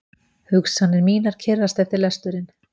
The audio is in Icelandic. Hugsanir mínar kyrrast eftir lesturinn.